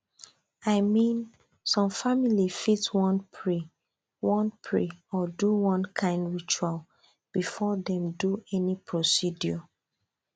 i mean some families fit wan pray wan pray or do one kind ritual before dem do any procedure